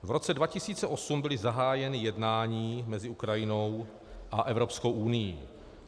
V roce 2008 byla zahájena jednání mezi Ukrajinou a Evropskou unií.